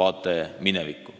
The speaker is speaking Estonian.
vaade minevikku.